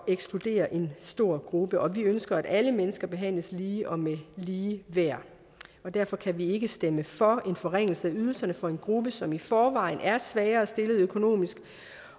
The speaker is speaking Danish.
ekskludere en stor gruppe og vi ønsker at alle mennesker behandles lige og med lige værd derfor kan vi ikke stemme for en forringelse af ydelserne for en gruppe som i forvejen er svagere stillet økonomisk